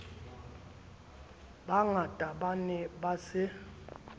bangata ba ne ba se